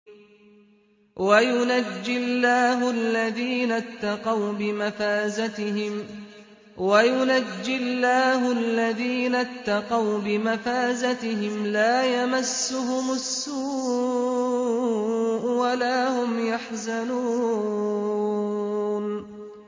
وَيُنَجِّي اللَّهُ الَّذِينَ اتَّقَوْا بِمَفَازَتِهِمْ لَا يَمَسُّهُمُ السُّوءُ وَلَا هُمْ يَحْزَنُونَ